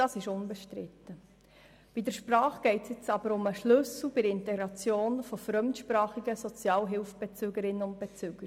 Bei der Sprache geht es aber um den Schlüssel für die Integration von fremdsprachigen Sozialhilfebezügerinnen und -bezügern.